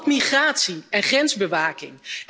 Maar ook op migratie en grensbewaking.